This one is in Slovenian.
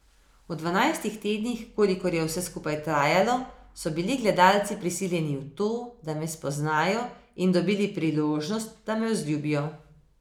V dvanajstih tednih, kolikor je vse skupaj trajalo, so bili gledalci prisiljeni v to, da me spoznajo, in dobili priložnost, da me vzljubijo.